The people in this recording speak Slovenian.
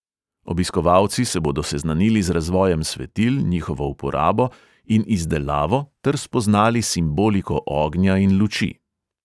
Obiskovalci se bodo seznanili z razvojem svetil, njihovo uporabo in izdelavo ter spoznali simboliko ognja in luči.